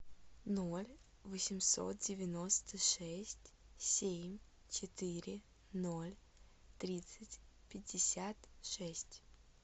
ноль восемьсот девяносто шесть семь четыре ноль тридцать пятьдесят шесть